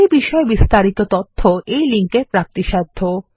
এই বিষয়ে বিস্তারিত তথ্য এই লিঙ্কে প্রাপ্তিসাধ্য